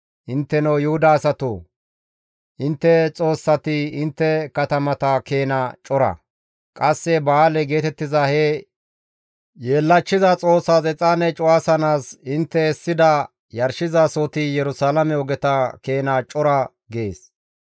Intteno Yuhuda asatoo! Intte xoossati intte katamata keena cora. Qasse Ba7aale geetettiza he yeellachchiza xoossas exaane cuwasanaas intte essida yarshizasohoti Yerusalaame ogeta keena cora› gees.